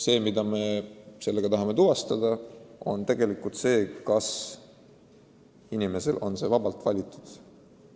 Sel juhul me tahame tuvastada, kas ta on sellise elu vabalt valinud.